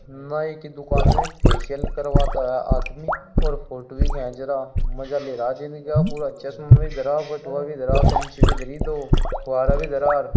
नाई की दुकान में फेशिअल करवाता आदमी और फोटु भी खैंच रहा मजा ले रहा है जिंदगी का पूरा चश्मे भी धरा बटुआ भी धरा कैंची भी धरि दो फुवारा भी धरा आर --